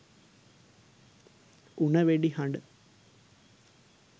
උණ වෙඩි හඬ